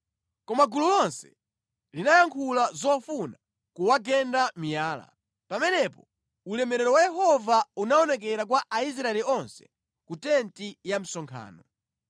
Koma gulu lonse linayankhula zofuna kuwagenda miyala. Pamenepo ulemerero wa Yehova unaonekera kwa Aisraeli onse ku tenti ya msonkhano.